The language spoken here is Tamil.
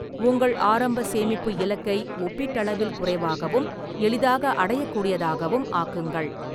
உங்கள் ஆரம்ப சேமிப்பு இலக்கை ஒப்பீட்டளவில் குறைவாகவும் எளிதாக அடையக்கூடியதாகவும் ஆக்குங்கள்.